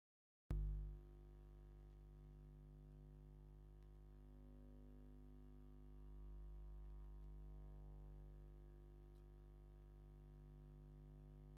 ኣብ ሓደ ግቢ መኖርያ ገዛ ዝተፈላለዩ ሓምለዋይ ኣትክልቲ ኣለዉ ኣብቲ ካንሸሎ በሪ ድማ ስልኪ ቁፅሪ ኣሎ ። ኣብቲ በሪ ናይ መን ፎቶ እዩ ዘሎ ?